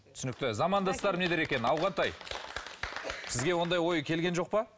түсінікті замандастар не дер екен ауғантай сізге ондай ой келген жоқ па